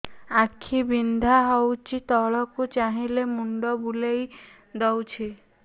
ଆଖି ବିନ୍ଧା ହଉଚି ତଳକୁ ଚାହିଁଲେ ମୁଣ୍ଡ ବୁଲେଇ ଦଉଛି